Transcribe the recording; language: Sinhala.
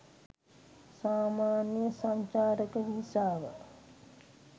සාමාන්‍ය සංචාරක වීසාව